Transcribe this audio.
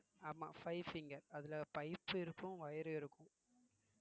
ஆமா ங்க அதுல pipes இருக்கும் wire ம் இருக்கும்